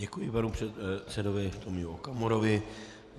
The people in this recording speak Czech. Děkuji panu předsedovi Tomiu Okamurovi.